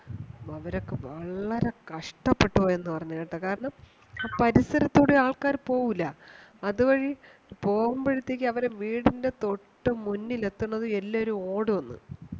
അവരൊക്കെ വളരെ കഷ്ട്ടപെട്ടുപോയെന്നു പറഞ് കേട്ട കാരണം ആ പരിസരത്തു കൂടെ ആൾക്കാര് പോവൂല അതുവഴി പോവുമ്പോഴത്തേക്കു അവരുടെ വീടിന്റെ തൊട്ടു മുന്നിൽ എത്തുന്നതും എല്ലാരും ഓടൂന്